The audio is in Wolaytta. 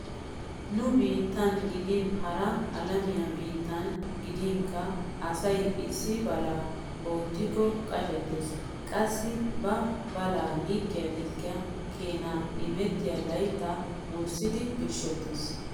Nu biittan gidin hara alamiya biittan gidinkka asay issi balaa oottikka qashettees. Qassi ba balaa likkiya likkiya keenaa imetta layttaa wurssidi birshshettees.